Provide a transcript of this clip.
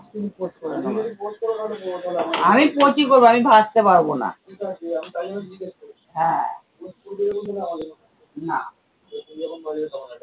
আমি পোচই করবো, আমি ভাজতে পারবো না। হ্যাঁ না